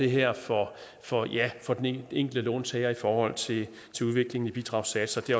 her får for for den enkelte låntager i forhold til udviklingen i bidragssatser det